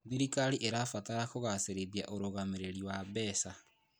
Thirikari ĩrabatara kũgacĩrithia ũrũgamĩrĩri wa mbeca.